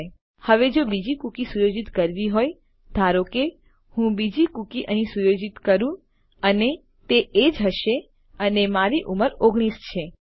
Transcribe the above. ઠીક છે હવે જો બીજી કૂકી સુયોજિત કરવી હોય ધારો કે હું બીજી કૂકી અહીં સુયોજિત કરું અને તે એજીઇ હશે અને મારી ઉંમર 19 છે